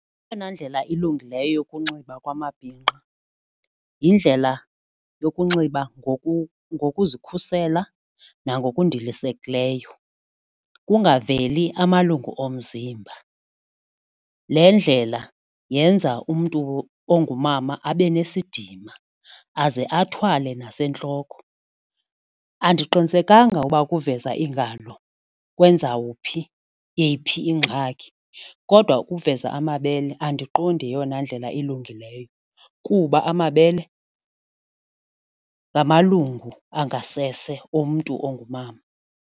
Eyona ndlela ilungileyo yokunxiba kwamabhinqa yindlela yokunxiba ngokuzikhusela nangokundilisekileyo kungaveli amalungu omzimba. Le ndlela yenza umntu ongumama abe nesidima aze athwale nasentloko, andiqinisekanga ukuba ukuveza iingalo kwenzawuphi yeyiphi ingxaki kodwa ukuveza amabele andiqondi yeyona ndlela ilungileyo kuba amabele ngamalungu angasese omntu ongumama.